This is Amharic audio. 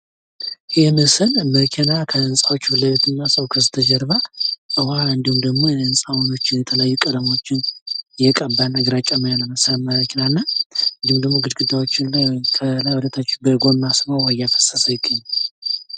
ይህ ምስል መኪና ከህንጻዎቹ ፊት ለፊትና ሰው ከስተጀርባ ዉሃ እንዲሁም ደሞ የህንጻዎችን የተለያዩ ቀለሞችን እየቀባ እና ግራጫማ የመሰለ መኪና እና እንዲሁም ደሞ ግድግዳዎችን ከላይ ወደታች በጎማ ዉሃ ስቦ እያፈሰሰ ይገኛል።